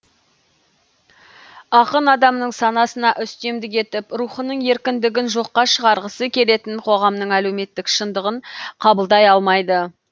ақын адамның санасына үстемдік етіп рухының еркіндігін жоққа шығарғысы келетін қоғамның әлеуметтік шындығын қабылдай алмайды